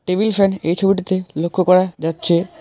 Table fan এই ছবিটাতে লক্ষ করা যাচ্ছে।